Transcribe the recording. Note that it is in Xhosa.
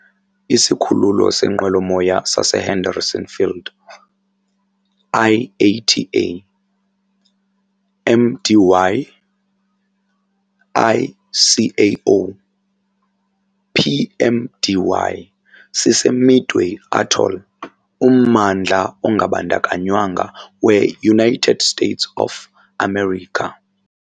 Isikhululo seenqwelomoya saseHenderson Field, IATA - MDY, ICAO - PMDY, siseMidway Atoll, ummandla ongabandakanywanga weUnited States of America.